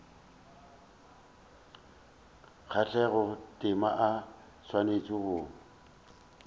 kgathago tema o swanetše go